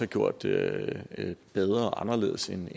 gjort det bedre og anderledes end